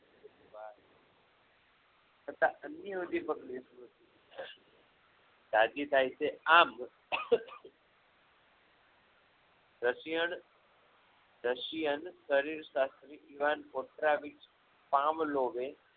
તથા અન્ય ઉદીપક રાજી થાય છે રશિયણ રશિયન શરીર સાથે